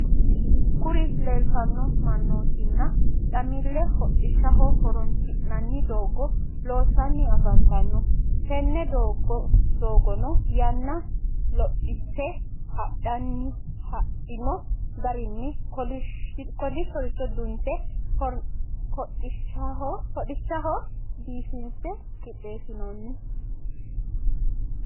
Kuri lelitano mannotina camelli hodhishshho horronisinanni dogo loosani afanitano. Tene dogono yana lophite hadhino garrinni kolishshorichu dunite hodhishaho biffise qixessitani no.